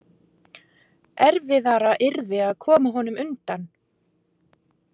Erfiðara yrði að koma honum undan.